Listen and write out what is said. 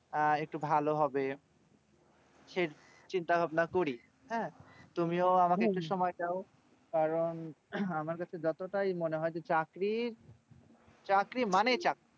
আহ একটু ভালো হবে সেই চিন্তা ভাবনা করি হারে তুমিও কারণ আমার কাছে যত তাই মনে হয় যে চাকরির চাকরি মানে চাকরি